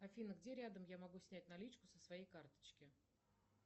афина где рядом я могу снять наличку со своей карточки